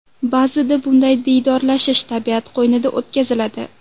Ba’zida bunday diydorlashish tabiat qo‘ynida o‘tkaziladi.